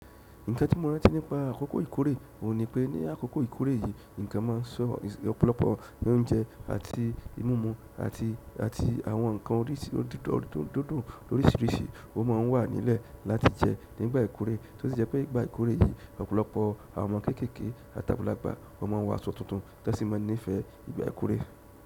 Nǹkan tí mo rántí nípa àkókò ìkórè ò ní pé ní àkókò ìkórè yìí, nǹkan ma ń sọ ọ̀pọ̀lọpọ̀ oúnjẹ àti múmu àti, àti àwọn ǹkan oríṣìrírí dídùn ló rírìṣìí ó ma ń wà nílẹ̀ láti jẹ́ nígbà ìkórè. Tí ó sì jẹ́ pé ìgbà ìkórè yìí ọ̀pọ̀lọpọ̀ àwọn ọmọ kéékèèké àti àgbàlagbà ó ma ń wọ aṣọ tuntun tí wọ́n sì máa ní ìfẹ́ ìgbà ìkórè.